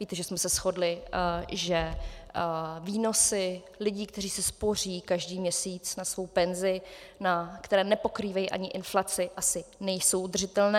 Víte, že jsme se shodli, že výnosy lidí, kteří si spoří každý měsíc na svou penzi, které nepokrývají ani inflaci, asi nejsou udržitelné.